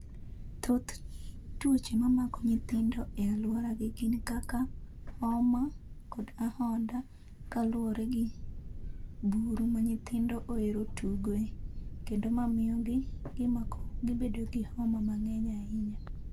Thoth tuoche mamako nyithindo e alwora gi gik kaka, homa, kod ahonda kaluwore gi buru ma nyithindo oero tugoe, kendo ma miyo gi gimako gibedo gi homa mang'eny ahinya